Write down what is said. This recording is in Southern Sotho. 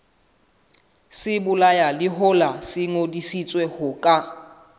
sebolayalehola se ngodisitswe ho ka